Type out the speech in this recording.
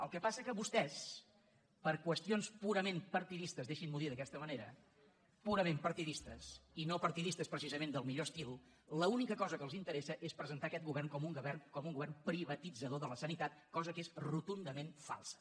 el que passa que a vostès per qüestions purament partidistes deixin m’ho dir d’aquesta manera i no partidistes precisament del millor estil l’única cosa que els interessa és presentar aquest govern com un govern privatitzador de la sanitat cosa que és rotundament falsa